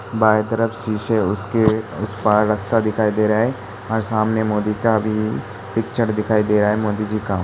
बाएँ तरफ शीशे उसके उस पार रस्ता दिखाई दे रहा है और सामने मोदी का भी पिक्चर दिखाई दे रहा है। मोदी जी का।